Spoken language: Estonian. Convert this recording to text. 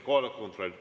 Kohaloleku kontroll.